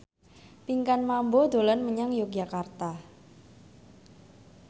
Pinkan Mambo dolan menyang Yogyakarta